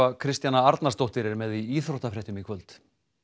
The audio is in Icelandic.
Kristjana Arnarsdóttir er með íþróttafréttir í kvöld